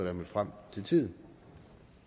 er mødt frem til tiden